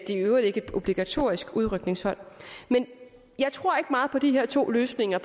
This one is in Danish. i øvrigt ikke et obligatorisk udrykningshold men jeg tror ikke meget på at de her to løsninger